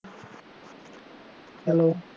Hello